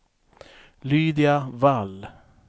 Lydia Wall